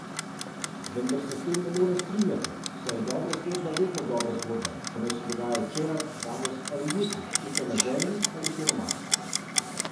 Vendar se s tem ne morem strinjati, saj je dobra zgodba vedno dobra zgodba, pa naj se dogaja včeraj, danes ali jutri, tukaj na Zemlji ali kje na Marsu.